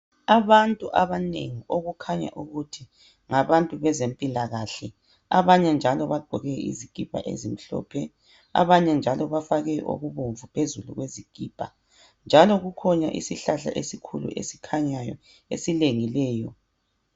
Abantu abanengi okukhanya ukuthi ngabantu bezempilakahle abanye njalo baqgoke izikipa ezimhlophe abanye njalo bafake ekubomvu phezulu kwezikipa njalo kukhona isihlahla esikhulu esikhanyayo esilengileyo.